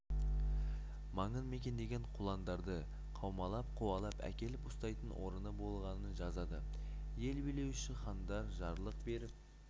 маңын мекендеген құландарды қаумалап қуалап әкеліп ұстайтын орыны болғанын жазады ел билеуші хандар жарлық беріп